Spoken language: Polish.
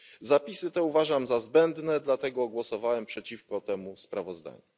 Zapisy te uważam za zbędne, dlatego głosowałem przeciwko temu sprawozdaniu.